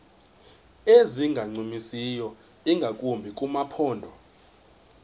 ezingancumisiyo ingakumbi kumaphondo